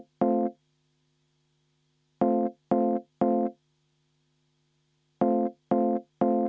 Aitäh!